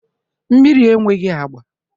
Mmiri enweghị agba